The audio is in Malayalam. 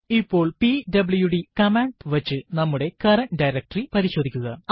ഇപ്പോൾ പിഡബ്ല്യുഡി കമാൻഡ് വച്ച് നമ്മുടെ കറന്റ് ഡയറക്ടറി പരിശോധിക്കുക